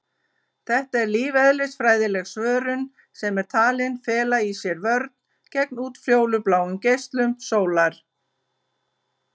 Þetta er lífeðlisfræðileg svörun sem er talin fela í sér vörn gegn útfjólubláum geislum sólar.